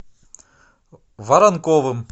воронковым